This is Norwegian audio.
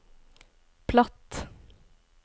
platt